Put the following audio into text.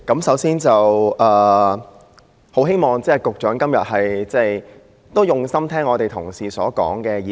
首先，我希望局長今天用心聆聽議員同事的意見。